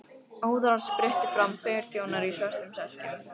Óðara spruttu fram tveir þjónar í svörtum serkjum.